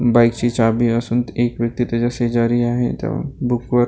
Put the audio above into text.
बाईकची चावी असून एक व्यक्ती त्याच्या शेजारी आहे त्या बुकवर --